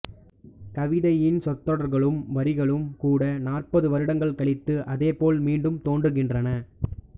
கவிதையின் சொற்றொடர்களும் வரிகளும் கூட நாற்பது வருடங்கள் கழித்து அதே போல் மீண்டும் தோன்றுகின்றன